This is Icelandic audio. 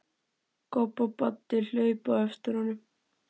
Kobbi og Baddi hlupu á eftir honum.